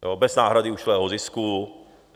Bez náhrady ušlého zisku.